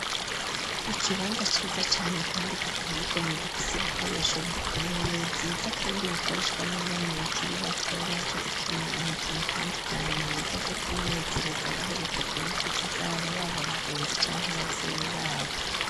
Ikibanza ciza cane kandi giteye igomwe gifise ibikoresho bikomeye Vyiza kandi bikoreshwa n'abana bakiri bato, baje gukina imikino itandukanye mu buryo bwo kw'inezereza baherekejwe n'inshuti zabo baba abagenzi canke abavyeyi babo.